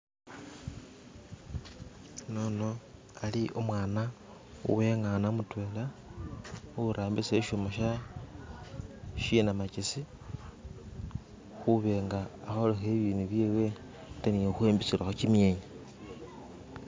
Unono ali umwana wengana mutwela ari khurambisa ishuma shenamakesi khuba nga akholelakho ibindu byewe ate ne khukhwimbisilakho kimyenya.